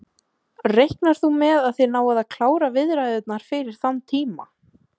Gunnar: Reiknar þú með að þið náið að klára viðræðurnar fyrir þann tíma?